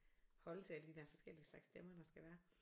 Holde til alle de der forskellige slags stemmer der skal være